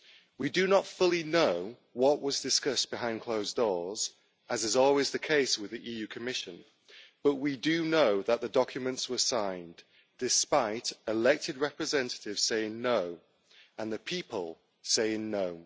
We do not fully know what was discussed behind closed doors, as is always the case with the Commission, but we do know that the documents were signed, despite elected representatives saying no' and the people saying no'.